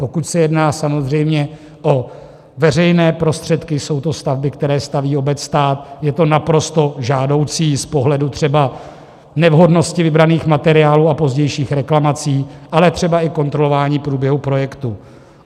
Pokud se jedná samozřejmě o veřejné prostředky, jsou to stavby, které staví obec, stát, je to naprosto žádoucí z pohledu třeba nevhodnosti vybraných materiálů a pozdějších reklamací, ale třeba i kontrolování průběhu projektu.